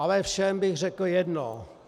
Ale všem bych řekl jedno.